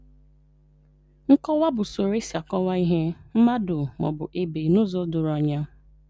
Nkọwa bụ usoro e si kọwaa ihe, mmadụ, ma ọ bụ ebe n’ụzọ doro anya.